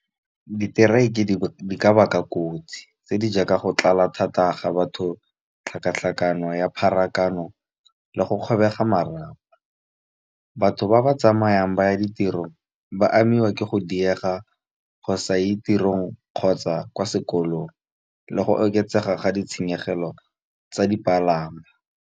Di-strike di ka baka kotsi tse di jaaka go tlala thata ga batho, tlhakatlhakano ya pharakano, le go kgobega marapo. Batho ba ba tsamayang ba ya ditirong, ba amiwa ke go diega go sa ye ditirong, kgotsa kwa sekolong. Le go oketsega ga ditshenyegelo tsa dipalangwa.